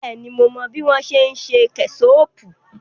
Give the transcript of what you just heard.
Bẹ́ẹ̀ni, mo mọ bí wọ́n ṣe ń ṣe kẹ́ṣọọ̀pù.